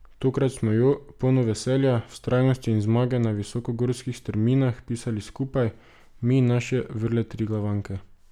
Tokrat smo jo, polno veselja, vztrajnosti in zmage na visokogorskih strminah pisali skupaj, mi in naše vrle triglavanke!